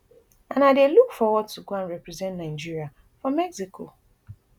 and i dey look forward to go and represent nigeria for mexico